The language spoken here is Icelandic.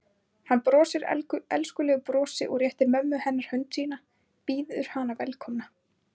Hann brosir elskulegu brosi og réttir mömmu hennar hönd sína, býður hana velkomna.